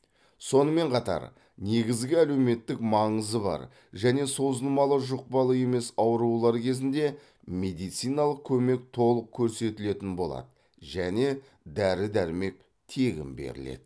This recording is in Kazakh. сонымен қатар негізгі әлеуметтік маңызы бар және созылмалы жұқпалы емес аурулар кезінде медициналық көмек толық көрсетілетін болады және дәрі дәрмек тегін беріледі